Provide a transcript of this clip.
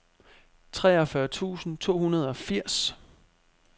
treogfyrre tusind to hundrede og firs